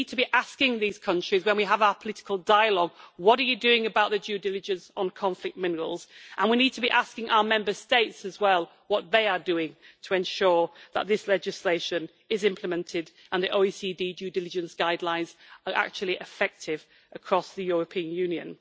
We need to be asking these countries, when we have our political dialogue, what they are doing about the due diligence on conflict minerals, and we need to be asking our Member States as well what they are doing to ensure that this legislation is implemented and that the OECD due diligence guidelines are actually effective across the European Union.